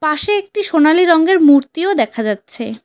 পাশে একটি সোনালী রঙ্গের মূর্তিও দেখা যাচ্ছে।